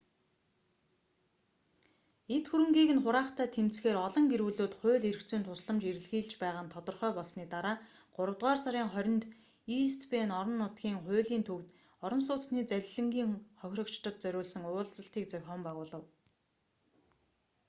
эд хөрөнгийг нь хураахтай тэмцэхээр олон гэр бүлүүд хууль эрх зүйн тусламж эрэлхийлж байгаа нь тодорхой болсоны дараа гуравдугаар сарын 20-нд ийст бэйн орон нутгийн хуулийн төвд орон сууцны залилангийн хохирогчдод зориулсан уулзалтыг зохион байгуулав